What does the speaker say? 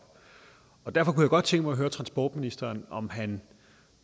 derfor kunne jeg godt tænke mig at høre transportministeren om han